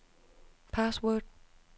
password